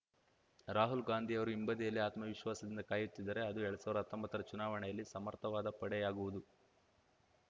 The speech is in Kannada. ರಾಹುಲ್‌ ಗಾಂಧಿಯವರು ಹಿಂಬದಿಯಲ್ಲಿ ಆತ್ಮವಿಶ್ವಾಸದಿಂದ ಕಾಯುತ್ತಿದ್ದರೆ ಅದು ಎರಡ್ ಸಾವ್ರ್ದಾ ಹತ್ತೊಂಬತ್ತರ ಚುನಾವಣೆಯಲ್ಲಿ ಸಮರ್ಥವಾದ ಪಡೆಯಾಗುವುದು